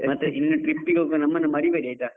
ಮತ್ತೆ ಇನ್ನು trip ಗೆ ಹೋಗುವಾಗ, ನಮ್ಮನು ಮರಿ ಬೇಡಿ ಆಯ್ತಾ.